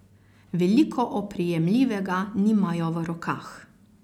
Veliko oprijemljivega nimajo v rokah.